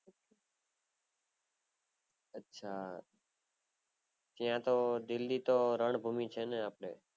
અચ્છા ત્યાં તો દિલ્લી તો રન્ભુમી છેને